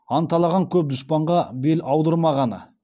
анталаған көп дұшпанға бел аудырмағаны